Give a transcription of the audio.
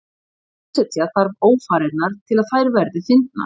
Sviðsetja þarf ófarirnar til að þær verði fyndnar.